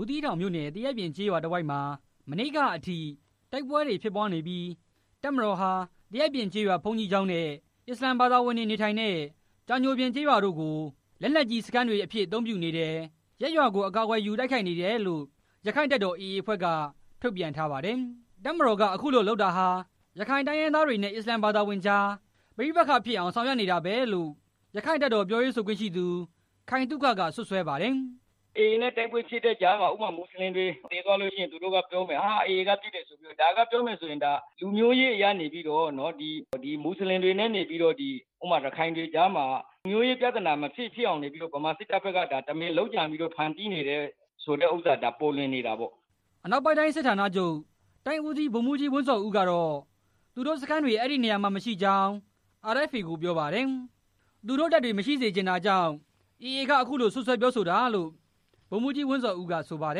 ူးသီးတောင်မြို့နယ် သရက်ပြင်ကျေးရွာတဝိုက်မှာ မနေ့ကအထိ တိုက်ပွဲတွေဖြစ်ပွားနေပြီး တပ်မတေ်ာဟာ သရက်ပြင်ကျေးရွာ ဘုန်းကြီးကျောင်းနဲ့ အစ္စလာမ်ဘာသာဝင်တွေနေထိုင်တဲ့ ကြာညိုပြင်ကျေးရွာတို့ကို လက်နက်ကြီးစခန်းတွေအဖြစ် အသုံးပြုနေတယ်၊ ရပ်ရွာကို အကာအကွယ်ယူ တိုက်ခိုက်နေတယ်လို့ ရခိုင့်တပ်တော် AA အဖွဲ့က ထုတ်ပြန်ထားပါတယ်။ တပ်မတော်က ခုလိုလုပ်နေတာဟာ ရခိုင်တိုင်းရင်းသားတွေနဲ့ အစ္စလာမ်ဘာသာဝင်ကြား ပဋိပက္ခဖြစ်အောင် ဆောင်ရွက်နေတာပဲလို့ ရခိုင့်တပ်တော်ပြောရေးဆိုခွင့်ရှိသူ ခိုင်သုခက စွပ်စွဲပါတယ်။ “AA နဲ့ တိုက်ပွဲဖြစ်တဲ့ကြားမှာ ဥပမာ မွတ်စလင်တွေသေလို့ရှိရင် သူတို့ကပြောဦးမယ်၊ ဒါက AA ပစ်လို့သေသွားတယ်ဆိုပြီး၊ ဒါက လူမျိုးရေးအရ မွတ်စလင်တွေနဲ့ ရခိုင်တွေကြားမှာ လူမျိုးရေးပြဿ နာ မဖြစ်ဖြစ်အောင် ဗမာစစ်တပ်ဘက်ကနေပြီးတော့ ဒါတမင် လုပ်ကြံဖန်တီးနေတာဆိုတာ ပေါ်လွင်နေတာပေါ့” အနောက်ပိုင်းတိုင်းစစ်ဌာနချုပ်တိုင်းဦးစီး ဗိုလ်မှူးဝင်းဇော်ဦး ကတော့ သူတို့စခန်းတွေ အဲဒီနေရာတွေမှာ မရှိကြောင်း RFA ကို ပြောပါတယ်။ သူတို့တပ်တွေ မရှိစေချင်တာကြောင့် AA က အခုလို စွပ်စွဲပြောဆိုတာလို့ ဗိုလ်မှူးကြီးဝင်းဇော်ဦးက ဆိုပါတ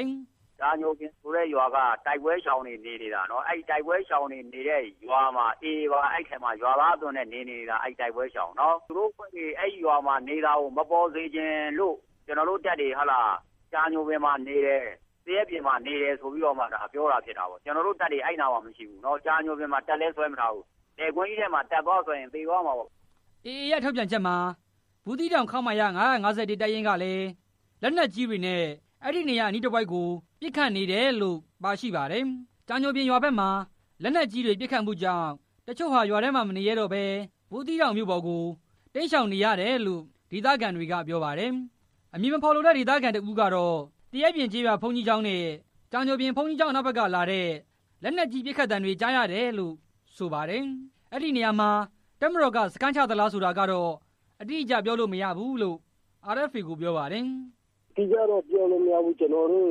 ယ်။ “ကြာညိုပြင်ဆိုတဲ့ရွာက တိုက်ပွဲရှောင်တွေနေနေတာနော်၊ အဲတိုက် ပွဲရှောင်တွေနေတဲ့ရွာမှာ AAအဖွဲ့ဝင်တွေပါ ရွာသားအသွင် နဲ့နေနေတာ၊ သူတို့အဖွဲ့တွေ အဲရွာမှာနေနေတာ မပေါ်စေချင်လို့ ကျနော်တို့တပ်တွေ ကြာညိုပြင်ရွာမှာနေတယ်၊ သရက်ပြင်မှာနေတယ်ပြောတာဖြစ်တာပေါ့၊ ကျနော်တို့တပ်တွေ အဲမှာမရှိဘူး၊ ကြာညိုပြင်မှာ တပ်လည်းစွဲမထားဘူး၊ လယ်ကွင်းထဲမှာ တပ်သွားစွဲရင် သေသွားမှာပေါ့” AA ရဲ့ထုတ်ပြန်ချက်မှာ ဘူးသီးတောင် ခမရ(၅၅၁) တပ်ရင်းကလည်း လက်နက်ကြီးတွေနဲ့ အဲဒီနေရာအနီးတဝိုက်ကို ပစ်ခတ်နေတယ်လိ့ု ပါရှိပါတယ်။ ကြာညိုပြင်ရွာဘက်မှာ လက်နက်ကြီးပစ်ခတ်မှုကြောင့် တချို့ဟာ ရွာထဲမှာမနေရဲတော့ဘဲ ဘူးသီးတောင်မြို့ပေါ်ကို တိမ်းရှောင်နေတယ်လို့ ဒေသခံတွေက ပြောပါတယ်။ အမည်မဖော်လို့တဲ့ ဒေသခံတစ်ဦးကတော့ သရက်ပြင်ကျေးရွာဘုန်းကြီးကျောင်းနဲ့ ကြာညိုပြင်ဘုန်းကြီးကျောင်း အနောက်ဘက်ကလာတဲ့ လက်နက်ကြီးပစ်ခတ်သံတွေ ကြားရတယ်လို့ ဆိုပါတယ်။ အဲဒီနေရာမှာ တပ်မတော်က စခန်းချနေသလားဆိုတာကတော့ အတိအကျပြောလို့မရဘူးလို့ RFA ကို ပြောပါတယ်။ လက်နက်ကြီးထုသံတွေ ကြားရတယ် “အတိအကျတော့ပြောလို့မရဘူး ကျနော်တို့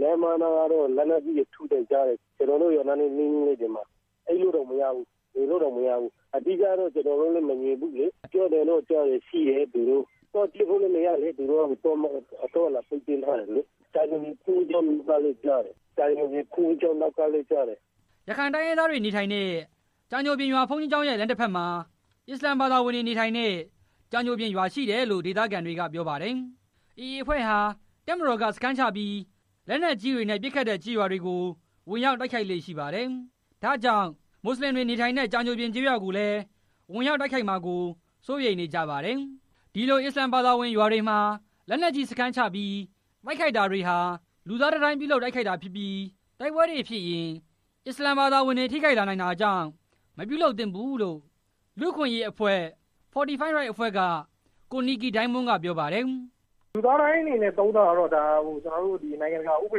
လမ်းမနားကတော့ လက်နက်ကြီးထုသံတွေကြားရတယ်၊ ကျနော်တို့ရွာနားနီးနီးမှာ အိပ်လို့တောင်မရဘူး၊ နေလို့လည်းမရဘူး၊ အတိအကျတော့ ကျနော်တို့လည်း မမြင်ဘူးလေ၊ ပြောသံတော့ကြားတယ် သူတို့ ရှိတယ်လို့၊ သွားကြည်လို့လည်း မရဘူးလေ၊ သွားလာခွင့် သူတို့ကပိတ်ပင်ထားတယ်၊ ကြာညိုပြင်မြောက်ဘက် ကလည်းကြားတယ်၊ ကြာညိုပြင်ဘုန်းကြီးကျောင်း အနောက်ဘက်ကလည်းကြားတယ်” AA အဖွဲ့ဟာ တပ်မတော်ကစခန်းချပြီး လက်နက်ကြီးတွေနဲ့ ပစ်ခတ်တဲ့ကျေးရွာများကို ဝင်ရောက်တိုက်ခိုက်လေ့ ရှိပါတယ်။ ဒါကြောင့် မွတ်စလင်တွေ နေထိုင်တဲ့ ကြာညိုပြင်ကျေးရွာကိုလည်း ဝင်ရောက်တိုက်ခိုက်မှာကို စိုးရိမ်နေကြပါတယ်။ ဒီလိ့ု အစ္စလာမ်ဘာသာဝင်ရွာတွေမှာ လက်နက်ကြီးစခန်းချပြီး တိုက်ခိုက်တာတွေဟာ လူသားတံတိုင်း ပြုလုပ် တိုက်ခိုက်တာဖြစ်ပြီး တိုက်ပွဲတွေဖြစ်ရင် အစ္စလာမ် ဘာသာဝင်တွေ ထိခိုက်လာနိုင်တာကြောင့် မပြုလုပ်သင့်ဘူးလို့ လူ့အခွင့်ရေးအဖွဲ့ Fortity Rights အဖွဲ့က ကိုနစ်ကီဒိုင်းမွန်းက ပြောပါတယ်။ “လူသားတံတိုင်းအနေနဲ့ သုံးတာကတော့ ကျနော်တို့နိုင်ငံတကာဥပ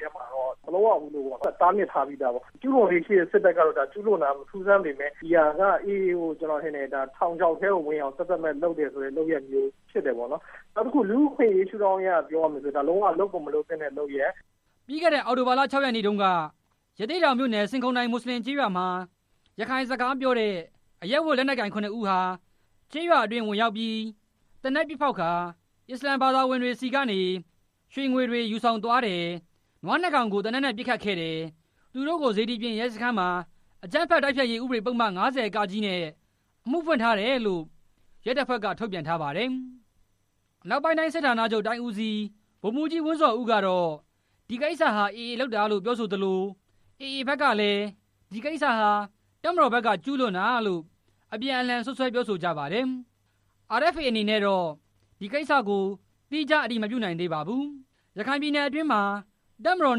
ဒေမှာလည်း မလုပ်ရဘူးလို့ တားမြစ်ထားပြီးသား၊ ကျူးလွန်လေ့ရှိတဲ့စစ်တပ်က ကျူးလွန်တာက မထူးဆန်းပေမယ့် ဒီဟာက AAကို ကျနော်ထင်တယ် ထောင်ခြောက်ထဲကို တမင်ဝင်အောင် သက်သက်မဲ့လုပ်တဲ့လုပ်ရပ်မျိုးဖြစ်တယ်ပေါ့၊ နောက်တခု လူ့အခွင့်အရေးရှုထောင့်က ပြောမယ်ဆိုရင် ဒါကလုပ်ကိုမလုပ်သင့်တဲ့လုပ်ရပ်” ပြီးခဲ့တဲ့အောက်တိုဘာလ ၆ ရက်နေ့တုန်းက ရသေ့တောင်မြို့နယ် ဆင်ခုန်တိုင်မွတ်စလင်ကျေးရွာမှာ ရခိုင် စကားပြောတဲ့ အရပ်ဝတ် လက်နက်ကိုင် ခုနှစ်ဦးဟာ ကျေးရွာအတွင်း ဝင်ရောက်ပြီး သေနတ်ပစ်ဖောက်ကာ အစ္စလာမ်ဘာသာဝင်တွေဆီကနေ ရွှေ၊ ငွေတွေ ယူဆောင်သွားတယ်၊ နွားနှစ်ကောင်ကို သေနတ်နဲ့ ပစ်ခတ်ခဲ့တယ်၊ သူတို့ကို စေတီပြင်ရဲစခန်းမှာ အကြမ်းဖက်တိုက်ဖျက်ရေးဥပဒေပုဒ်မ ၅၀ (က) နဲ့ အမှုဖွင့်ထားတယ်လို့ ရဲတပ်ဖွဲ့က ထုတ်ပြန်ထားပါတယ်။ အနောက်ပိုင်းတိုင်းစစ်ဌာနချုပ်တိုင်းဦးစီး ဗိုလ်မှူးကြီးဝင်းဇော်ဦးကတော့ ဒီကိစ္စဟာ AA က လုပ်တာလို့ ပြောဆို သလို AA ဘက်ကလည်း ဒီကိစ္စဟာ တပ်မတော်ဘက်က ကျူးလွန်တာလို့ အပြန်အလှန် စွပ်စွဲပြောဆိုကြပါတယ်။ RFA အနေနဲ့တော့ ဒီကိစ္စကို သီးခြားအတည်မပြုနိုင်သေးပါဘူး။ ရခိုင်ပြည်နယ်အတွင်းမှာ တပ်မတော်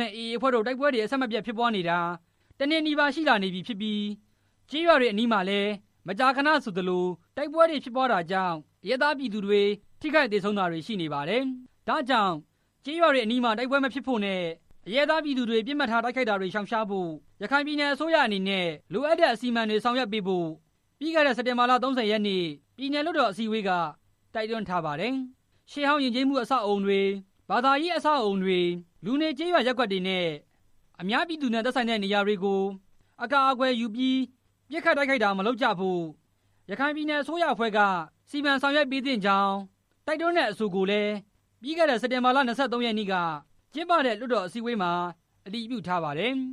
နဲ့ AA အဖွဲ့တို့ တိုက်ပွဲ အဆက်မပြတ်ဖြစ်ပွားနေတာ ၁ နှစ်နီးပါးရှိလာနေပြီဖြစ် ပြီး ကျေးရွာတွေအနီးမှာလည်း မကြာခဏဆိုသလို တိုက်ပွဲဖြစ်ပွားတာကြောင့် အရပ်သားပြည်သူတွေ ထိခိုက်သေဆုံးတာတွေ ရှိနေပါတယ်။ ဒါကြောင့် ကျေးရွာတွေအနီးမှာ တိုက်ပွဲမဖြစ်ဖို့နဲ့ အရပ်သားပြည်သူတွေကို ပစ်မှတ်ထားတိုက်ခိုက်တာတွေ ရှောင်ရှားဖို့ ရခိုင်ပြည်နယ်အစိုးရအနေနဲ့ လိုအပ်တဲ့ အစီအမံတွေ ဆောင်ရွက်ပေးဖို့ ပြီးခဲ့တဲ့ စက်တင်ဘာ ၃၀ ရက်နေ့ ပြည်နယ်လွှတ်တော်အစည်းအဝေးက တိုက်တွန်းထားပါတယ်။ ရှေးဟောင်းယဉ်ကျေးမှု အဆောက်အဦးတွေ၊ ဘာသာရေးအဆောက်အဦးတွေ၊ လူနေကျေးရွာရပ်ကွက်တွေနဲ့ အများပြည်သူနဲ့ဆိုင်တဲ့နေရာတွေကို အကာအကွယ်ယူပြီး ပစ်ခတ်တိုက်ခိုက်တာ မလုပ်ကြဖို့ ရခိုင်ပြည်နယ် အစိုးရ အဖွဲ့က စီမံဆောင်ရွက်ပေးသင့်ကြောင်း တိုက်တွန်းတဲ့အဆိုကိုလည်း ပြီးခဲ့တဲ့ စက်တင်ဘာ ၂၃ ရက်နေ့က ကျင်းပတဲ့ လွှတ်တော်အစည်းအဝေးမှာ အတည်ပြုထားပါတယ်။